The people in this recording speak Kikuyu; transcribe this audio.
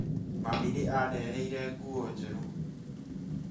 Mami nĩ andeheĩre nguo njerũ